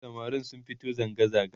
samarin sun fito zangazaga